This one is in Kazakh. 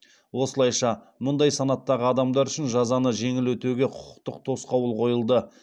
осылайша мұндай санаттағы адамдар үшін жазаны жеңіл өтеуге құқықтық тосқауыл қойылды